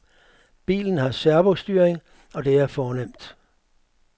Bilen har servostyring, og det er fornemt.